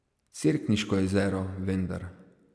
Cerkniško jezero, vendar!